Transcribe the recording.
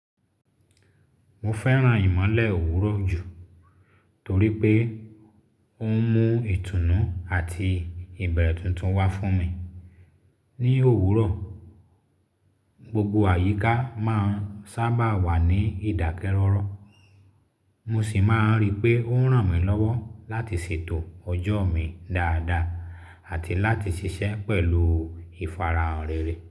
Mo fẹ́ràn ìmọ́lẹ̀ òwúrọ̀ jù torí pé ó ń mú ìtùnú àti ìbẹ̀rẹ̀ tuntun wá fún mi. Ni òwúrọ̀, gbogbo àyíká máa ń sábà wà ní ìdákẹ́rọ́rọ́, mo sì máa ń rí pé ó ń ràn mí lọ́wọ́ láti ṣètò ọjọ́ mi dáadáa àti láti ṣiṣẹ́ pẹ̀lú ìfarahàn rere.